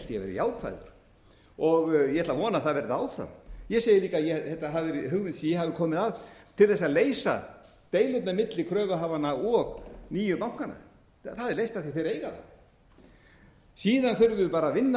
ég ætla að vona að það verði áfram ég segi líka að þetta hafi verið hugmynd sem ég hafi komið að til þess að leysa deilurnar milli kröfuhafanna og nýju bankanna það er leitt af því þeir eiga það síðan þurfum við bara að vinna að